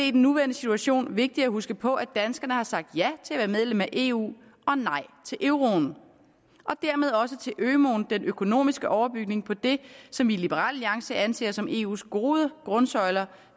i den nuværende situation vigtigt at huske på at danskerne har sagt ja til at være medlem af eu og nej til euroen og dermed også nej til ømuen den økonomiske overbygning på det som vi i liberal alliance anser som eus gode grundsøjler